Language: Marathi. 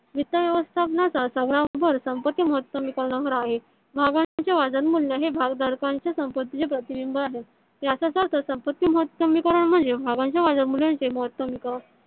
वित्त व्यवस्थापनाचा सर्व भर संपत्ति म्हतमी करणावर आहे. भागांचे वजन मूल्य हे भागधरकरच्या संपतीचे प्रतिबिंब आहे. याचाच अर्थ संपत्ति महतमी करण म्हणजे भागांच्या वजा मूल्या चे महतमी करण